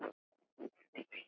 Getum við komið við heima?